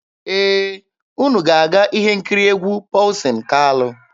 Ee, unu ga-aga ihe nkiri egwu Pọlsin Kalụ.